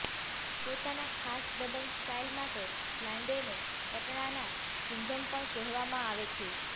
પોતાના ખાસ દબંગ સ્ટાઇલ માટે લાંડેને પટણાના સિંઘમ પણ કહેવામાં આવે છે